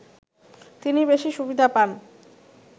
তিনি বেশি সুবিধা পান